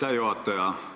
Aitäh, juhataja!